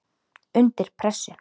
Undir pressu.